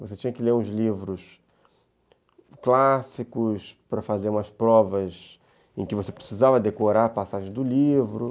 Você tinha que ler os livros clássicos para fazer umas provas em que você precisava decorar a passagem do livro.